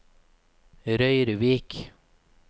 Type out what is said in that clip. Røyrvik